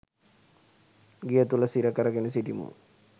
ගෙය තුළ සිර කර ගෙන සිටිමු.